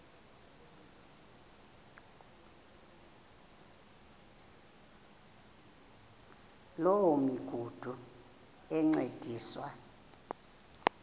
loo migudu encediswa